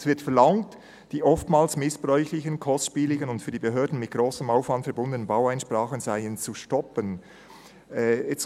Es wird verlangt, «die oftmals missbräuchlichen, kostspieligen und für die Behörden mit grossem Aufwand verbundenen Baueinsprachen sind zu stoppen».